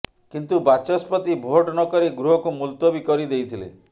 କିନ୍ତୁ ବାଚସ୍ପତି ଭୋଟ୍ ନକରି ଗୃହକୁ ମୁଲତବି କରି ଦେଇଥିଲେ